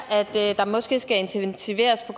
at der måske skal intensiveres på